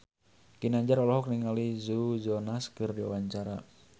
Ginanjar olohok ningali Joe Jonas keur diwawancara